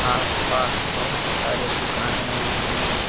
आस पास बहुत सारे दुकानें भी हैं।